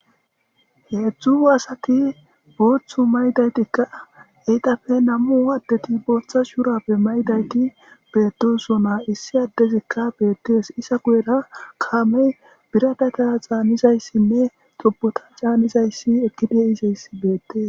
Heedzdzu aasati booththu maydaytikka eyqafe nammu addeti bootha shurappe maydayti beedesona issi addezikka beettees isa guyera kaamey biradata xaanizayssinne xobota caanizayssi ekkidiisayssi beettes.